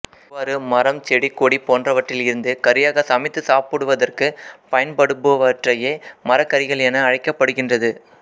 இவ்வாறு மரம் செடி கொடி போன்றவற்றில் இருந்து கறியாக சமைத்து சாப்பிடுவதற்கு பயன்படுபவற்றையே மரக்கறிகள் என அழைக்கப்படுகின்றது